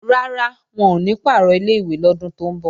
Rárá, wọn ò ní pàrọ̀ ilé-ìwé lọ́dún tó ń bọ̀